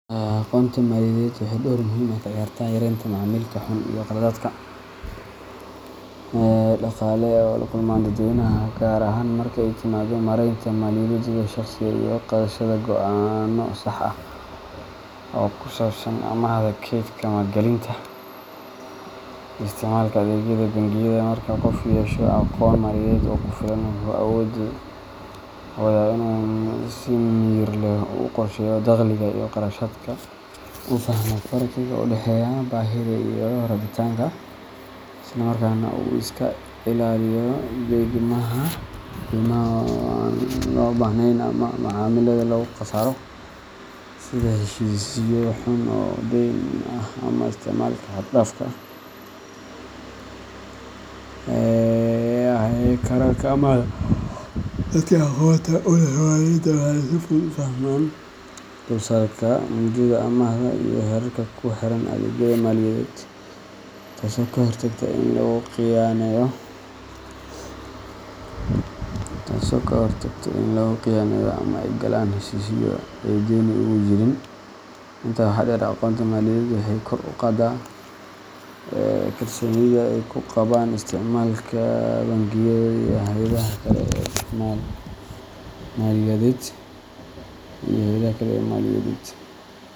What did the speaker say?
Aqoonta maaliyadeed waxay door muhiim ah ka ciyaartaa yareynta macaamilka xun iyo khaladaadka dhaqaale ee ay la kulmaan dadweynaha, gaar ahaan marka ay timaado maaraynta maaliyaddooda shaqsiga ah iyo qaadashada go’aanno sax ah oo ku saabsan amaahda, keydka, maalgelinta, iyo isticmaalka adeegyada bangiyada. Marka qofku yeesho aqoon maaliyadeed oo ku filan, wuxuu awoodaa inuu si miyir leh u qorsheeyo dakhliga iyo kharashaadka, u fahmo farqiga u dhexeeya baahida iyo rabitaanka, isla markaana uu iska ilaaliyo deymaha aan loo baahnayn ama macaamilada lagu khasaaro sida heshiisyo xun oo deyn ah ama isticmaalka xad-dhaafka ah ee kaararka amaahda. Dadka aqoonta u leh maaliyadda waxay si fudud u fahmaan dulsaarka, mudada amaahda, iyo xeerarka ku xeeran adeegyada maaliyadeed, taasoo ka hortagta in lagu khiyaaneeyo ama ay galaan heshiisyo ay dani ugu jirin. Intaa waxaa dheer, aqoonta maaliyadeed waxay kor u qaaddaa kalsoonida dadka ay ku qabaan isticmaalka bangiyada iyo hay’adaha kale ee maaliyadeed,